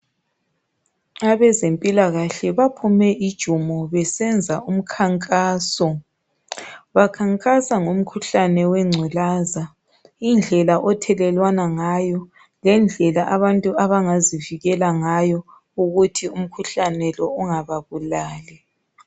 Abezempilakahle baphume ijumo besenza umkhankaso bakhankasa ngomkhuhlane wengculaza indlela othelelwana ngayo lendlela abantu abangazivikela ngayo ukuthi umkhuhlane lo ungababulali.